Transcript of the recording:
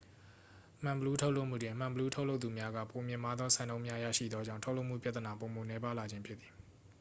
မှန်ဘီလူး ထုတ်လုပ်မှုတွင် မှန်ဘီလူး ထုတ်လုပ်သူများက ပိုမြင့်မားသော စံနှုန်းများ ရရှိသောကြောင့် ထုတ်လုပ်မှုပြသနာပိုမိုနည်းပါးလာခြင်းဖြစ်သည်